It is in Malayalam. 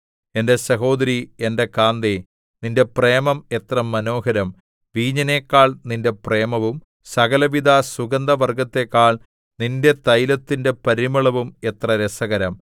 എന്റെ സഹോദരീ എന്റെ കാന്തേ നിന്റെ പ്രേമം എത്ര മനോഹരം വീഞ്ഞിനെക്കാൾ നിന്റെ പ്രേമവും സകലവിധ സുഗന്ധവർഗ്ഗത്തെക്കാൾ നിന്റെ തൈലത്തിന്റെ പരിമളവും എത്ര രസകരം